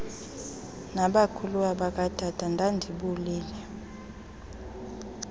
nabakhuluwa bakatata ndandibolile